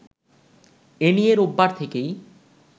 এ নিয়ে রোববার থেকেই